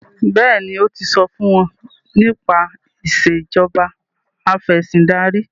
béèni o tí so fún wón nípa Ìṣèjọba Afẹ̀sìndarí